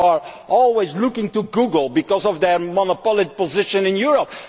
we are always looking to Google because of their monopoly position in Europe.